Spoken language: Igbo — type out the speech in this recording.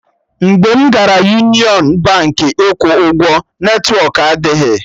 Mgbe m gara Union Baankị ịkwụ ụgwọ, netwọk adịghị